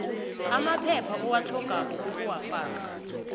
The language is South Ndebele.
amaphepha owatlhogako ukuwafaka